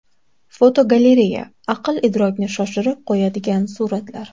Fotogalereya: Aql-idrokni shoshirib qo‘yadigan suratlar.